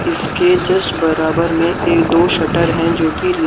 इसके जस्ट बराबर में एक-- दो शटर हैं जो कि--